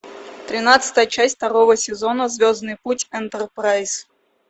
тринадцатая часть второго сезона звездный путь энтерпрайз